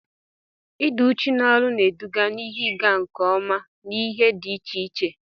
Ịdị uchu na-eduga na ihe ịga nke ọma n'ihe dị iche iche.